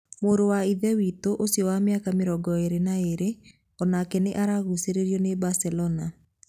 Mũrũ wa Ithe witũ ũcio wa mĩaka 22 o nake nĩ aragucĩrĩrio nĩ Barcelona.